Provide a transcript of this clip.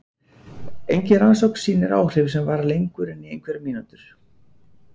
Engin rannsókn sýnir áhrif sem vara lengur en í einhverjar mínútur.